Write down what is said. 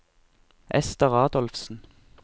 Ester Adolfsen